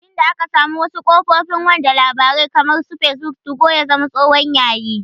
Tin da aka samu wasu kafofin wanda labarai kamar su fesbuk, tugo ya zama tsohon yayi